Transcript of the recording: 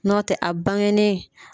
Nɔ tɛ a bangenen.